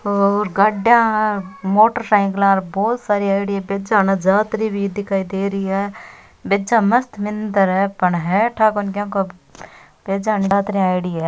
और गाड़िया मोटर सायकला बहुत सारी आयेड़ी है भेजा उन जातरी भी दिखाई देरी है भेजा मस्त मंदिर है पर है ठा कोनी के को है भेजा जातरी आयोडी है।